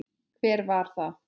Hver var það?